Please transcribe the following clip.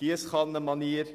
Wahlzückerchen gegeben werden.